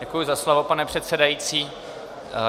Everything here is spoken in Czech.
Děkuji za slovo, pane předsedající.